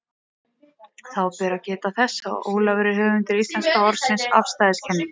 Þá ber að geta þess, að Ólafur er höfundur íslenska orðsins afstæðiskenning.